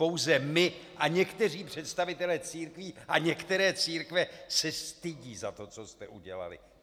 Pouze my a někteří představitelé církví a některé církve se stydí za to, co jste udělali.